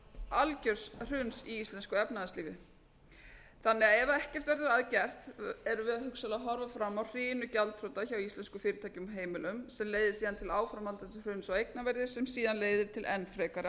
algjörs hruns í íslensku efnahagslífi þannig að ef ekkert verður að gert erum við að hugsanlega að horfa fram á hrinu gjaldþrota hjá íslenskum fyrirtækjum og heimilum sem leiðir síðan til áframhaldandi hrun á eignaverði sem síðan leiðir til enn frekari